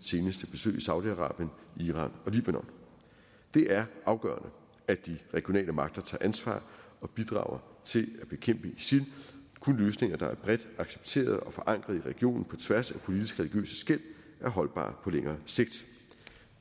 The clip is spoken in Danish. seneste besøg i saudi arabien iran og libanon det er afgørende at de regionale magter tager ansvar og bidrager til at bekæmpe isil kun løsninger der er bredt accepteret og forankret i regionen på tværs af politiske og religiøse skel er holdbare på længere sigt